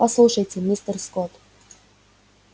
послушайте мистер скотт